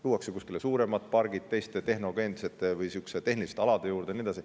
Luuakse kuskile suuremad pargid teiste tehnogeensete või tehniliste alade juurde ja nii edasi.